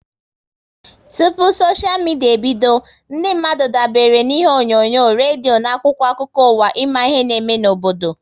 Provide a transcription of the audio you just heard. Tụpụ soshia midia ebido, ndị mmadụ dabere na ihe onyonyo, redio na akwụkwọ akụkọ ụwa ịma ihe n'eme n'obodo